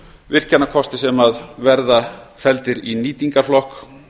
virkjanakosti sem verða felldir í nýtingarflokk